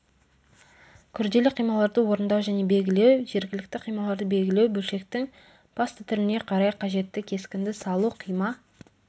күрделі қималарды орындау және белгілеу жергілікті қималарды белгілеу бөлшектің басты түріне қарай қажетті кескінді салу қима